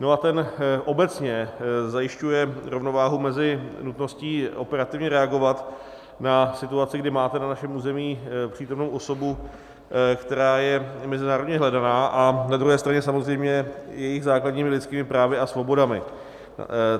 No a ten obecně zajišťuje rovnováhu mezi nutností operativně reagovat na situaci, kdy máme na našem území přítomnou osobu, které je mezinárodně hledaná, a na druhé straně samozřejmě jejími základními lidskými právy a svobodami.